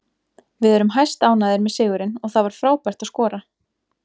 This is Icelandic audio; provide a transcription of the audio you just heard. Við erum hæstánægðir með sigurinn og það var frábært að skora.